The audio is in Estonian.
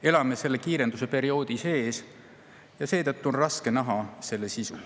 Me elame selle kiirenduse perioodi sees ja seetõttu on raske näha selle sisu.